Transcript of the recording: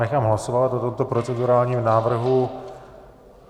Nechám hlasovat o tomto procedurálním návrhu.